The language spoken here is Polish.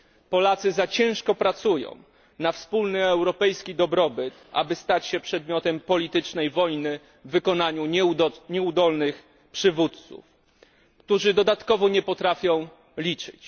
Polacy zbyt ciężko pracują na wspólny europejski dobrobyt, aby stać się przedmiotem politycznej wojny w wykonaniu nieudolnych przywódców, którzy dodatkowo nie potrafią liczyć.